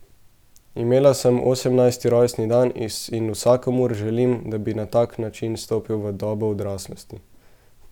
Imela sem osemnajsti rojstni dan in vsakomur želim, da bi na tak način stopil v dobo odraslosti.